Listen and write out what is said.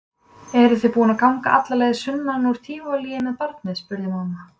Eruð þið búin að ganga alla leið sunnan úr Tívolí með barnið? spurði mamma.